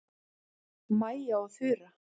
Mæja og Þura